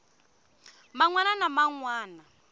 man wana na man wana